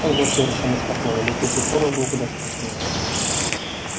он был совершенно спокоен летучий порох был куда страшнее